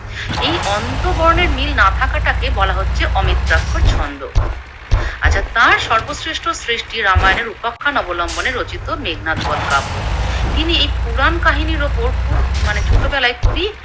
এই অন্তবর্ণের মিল না থাকাটাকে বলা হচ্ছে অমিত্রাক্ষর ছন্দ। আচ্ছা তার সর্ব শ্রেষ্ঠ সৃষ্টি রামায়ণের উপাখ্যান অবলম্বনে রচিত মেঘনাদবদ কাব্য। তিনি এই পুরাণ কাহিনীর ওপর খুব মানে ছোটবেলায় খুবই